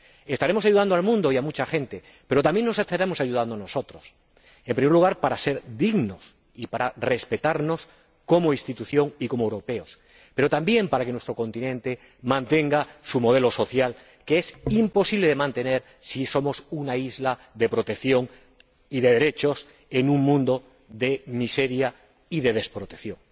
Estaremos ayudando al mundo y a mucha gente, pero también nos estaremos ayudando a nosotros, en primer lugar, para ser dignos y para respetarnos como institución y como europeos, pero también para que nuestro continente mantenga su modelo social, que es imposible de mantener si somos una isla de protección y de derechos en un mundo de miseria y de desprotección.